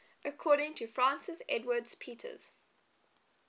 according to francis edwards peters